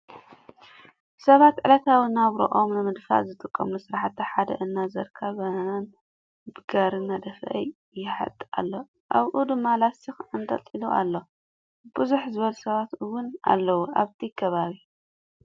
ሰባት ዕለታዊ ናብርኦም ንምድፋእ ዝጥቀምሉ ስራሕቲ ሓደ እናዘርካ ባናናን ብጋሪ እናደፍአ ይሐጥ ኣሎ ኣብኡ ድማ ላስቲክ ኣንጠልጢሉ ኣሎ ። ብዝሕ ዝበሉ ሰባት እዉን ኣለዉ ኣብቲ ከባቢ።